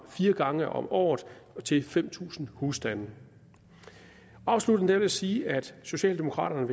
fire gange om året til fem tusind husstande afsluttende vil jeg sige at socialdemokraterne